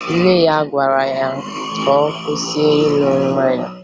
Nne ya gwara ya ka ọ kwụsị ịṅụ mmanya